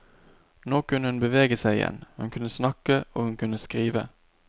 Nå kunne hun bevege seg igjen, hun kunne snakke og hun kunne skrive.